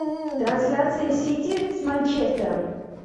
трансляция сити с манчестером